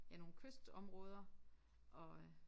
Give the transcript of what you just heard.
Ja nogle kystområder og øh